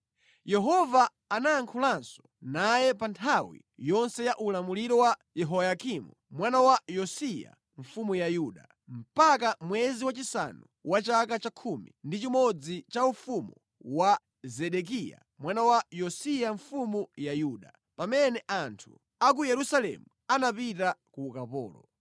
Yehova anayankhulanso naye pa nthawi yonse ya ulamuliro wa Yehoyakimu mwana wa Yosiya mfumu ya Yuda, mpaka mwezi wachisanu wa chaka cha 11 cha ufumu wa Zedekiya mwana wa Yosiya mfumu ya Yuda, pamene anthu a ku Yerusalemu anapita ku ukapolo.